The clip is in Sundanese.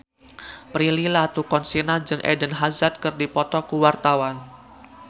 Prilly Latuconsina jeung Eden Hazard keur dipoto ku wartawan